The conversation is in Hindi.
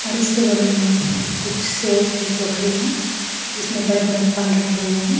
और इसके बगल में कुछ सेव के टोकरी हैं जिसमें बड़े बड़े फल रखे हुए हैं।